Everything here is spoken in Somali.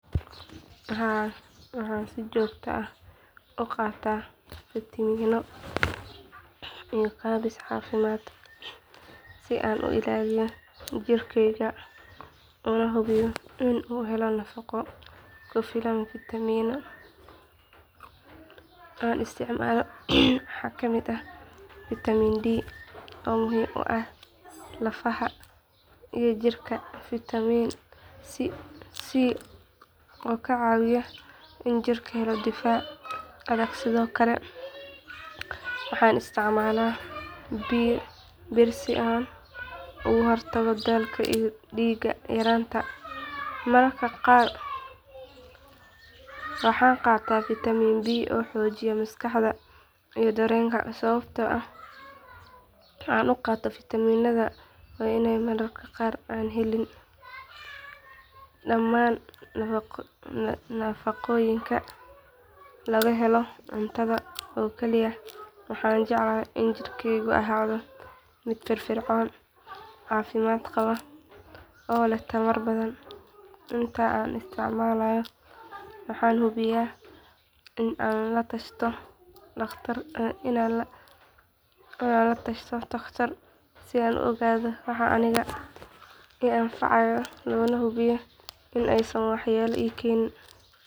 Haa waxaan si joogta ah u qaataa fitamiino iyo kaabis caafimaad si aan u ilaaliyo jirkeyga una hubiyo in uu helo nafaqo ku filan fitamiinada aan isticmaalo waxaa ka mid ah fitamiin di oo muhiim u ah lafaha iyo jirka fitamiin si oo ka caawiya in jirka helo difaac adag sidoo kale waxaan isticmaalaa bir si aan uga hortago daalka iyo dhiig yaraanta mararka qaar waxaan qaataa fitamiinka bi oo xoojiya maskaxda iyo dareenka sababta aan u qaato fitamiinadaan waa in mararka qaar aanan helin dhammaan nafaqooyinka laga helo cuntada oo kaliya waxaana jeclahay in jirkeyga ahaado mid firfircoon caafimaad qaba oo leh tamar badan inta aan isticmaalayo waxaan hubiyaa in aan la tashado takhtar si aan u ogaado waxa aniga i anfacaya loona hubiyo in aysan waxyeello ii keenaynin.